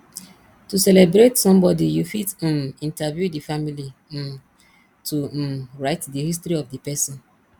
to celebrate some body you fit um interview the family um to um write di history of di person